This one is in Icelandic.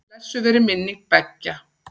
Blessuð veri minning beggja.